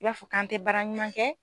I y'a fɔ k'an te baara ɲuman kɛ